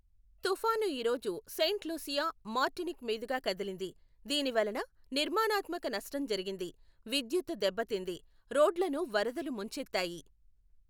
తుఫాను ఈ రోజు సెయింట్ లూసియా, మార్టినిక్ మీదుగా కదిలింది, దీని వలన నిర్మాణాత్మక నష్టం జరిగింది, విద్యుత్తు దెబ్బతింది, రోడ్లను వరదలు ముంచెత్తాయి.